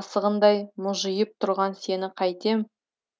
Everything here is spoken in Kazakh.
асығындай мүжиып тұрған сені қайтем